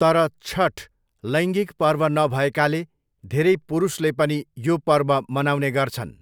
तर, छठ लैङ्गिक पर्व नभएकाले धेरै पुरुषले पनि यो पर्व मनाउने गर्छन्।